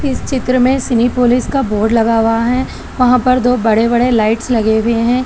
इस चित्र में सिनेपोलिस का बोर्ड लगा हुआ है वहां पर दो बड़े बड़े लाइट्स लगे हुए है।